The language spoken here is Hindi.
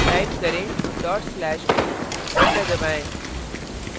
type करेंdot slash do enter दबाएं